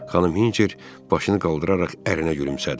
Xanım Hinçer başını qaldıraraq ərinə gülümsədi.